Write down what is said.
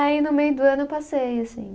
Aí no meio do ano eu passei, assim.